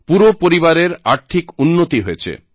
পুরো পরিবারের আর্থিক উন্নতি হয়েছে